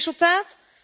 Het resultaat?